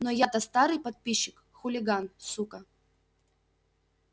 но я-то старый подписчик хулиган сука